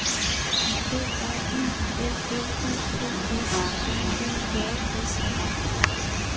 B R Y L L U P S R E J S E